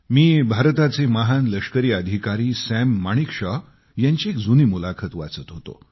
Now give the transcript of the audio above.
मी भारताचे महान लष्करी अधिकारी सॅम माणिकशॉ यांची एक जुनी मुलाखत वाचत होतो